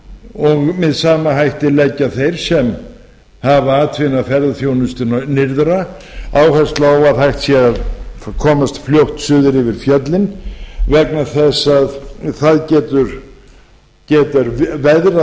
og með sama hætti leggja þeir sem hafa atvinnu af ferðaþjónustu nyrðra áherslu á að hægt sé að komast fljótt suður yfir fjöllin vegna þess að það getur veðrað